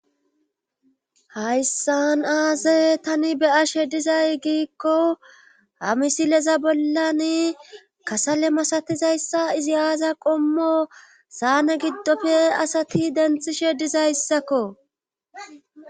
hayssan aaze tani be'ashe dizay giikko ha misileza bollani kasale masatizayssa izi aaza qommo saane giddofe asati denthishe dizayssakko